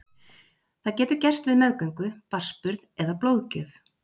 Það getur gerst við meðgöngu, barnsburð eða blóðgjöf.